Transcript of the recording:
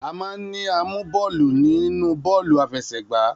A máa ń ní amú bọ́ọ̀lù nínú bọ́ọ̀lù àfẹsẹ̀gba.